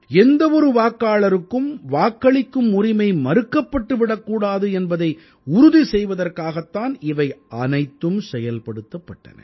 எந்த ஒரு வாக்காளருக்கும் வாக்களிக்கும் உரிமை மறுக்கப்பட்டு விடக்கூடாது என்பதை உறுதி செய்வதற்காகத் தான் இவை அனைத்தும் செயல்படுத்தப்பட்டன